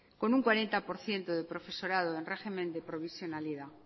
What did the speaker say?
con un cuarenta por ciento de profesorado en régimen de provisionalidad